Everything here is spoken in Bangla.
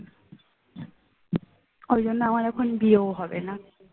ওই জন্য আমার এখন বিয়েও হবে না